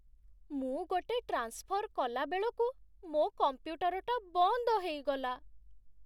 ମୁଁ ଗୋଟେ ଟ୍ରାନ୍ସଫର୍ କଲା ବେଳକୁ ମୋ' କମ୍ପ୍ୟୁଟରଟା ବନ୍ଦ ହେଇଗଲା ।